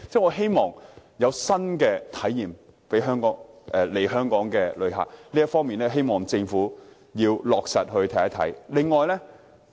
我希望能為來港旅客提供新體驗，希望政府落實這方面的政策。